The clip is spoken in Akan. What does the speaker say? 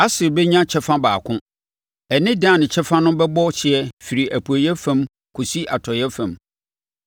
Aser bɛnya kyɛfa baako; ɛne Dan kyɛfa no bɛbɔ hyeɛ firi apueeɛ fam akɔsi atɔeɛ fam.